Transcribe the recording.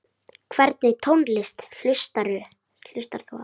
Hvernig tónlist hlustar þú á?